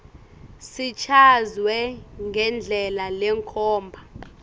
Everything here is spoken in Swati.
sichazwe ngendlela lekhomba